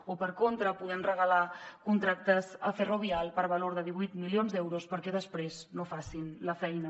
o per contra podem regalar contractes a ferrovial per valor de divuit milions d’euros perquè després no facin la feina